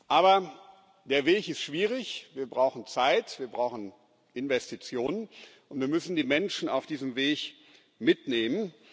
Aber der Weg ist schwierig Wir brauchen Zeit, wir brauchen Investitionen, und wir müssen die Menschen auf diesem Weg mitnehmen.